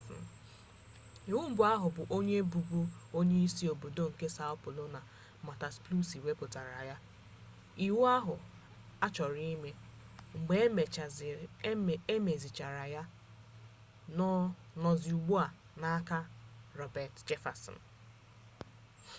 iwu mbụ ahụ bụ onye bụbu onyeisi obodo nke são paulo marta suplicy wepụtara ya. iwu ahụ achọrọ ime mgbe e mezichara ya nọzi ugbu a n’aka roberto jefferson